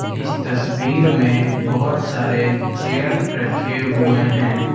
इस तस्वीर में बहुत सारे चेयर रखे हुए हैं।